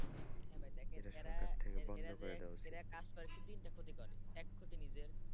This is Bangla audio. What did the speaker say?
ভাই দেখেন এরা এরা যে এরা কাজ করে তিনটা ক্ষতিকর এক ক্ষতি নিজের।